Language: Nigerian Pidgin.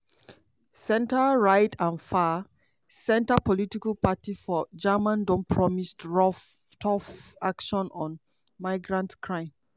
centre-right and far-right political parties for germany don promise tough action on migrant crime.